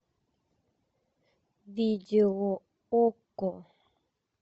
видео окко